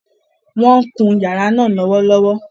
Wọ́n ń kun yàrá náà lọ́wọ́lọ́wọ́